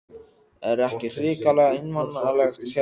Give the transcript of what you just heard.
Er ekki hrikalega einmanalegt hér á veturna?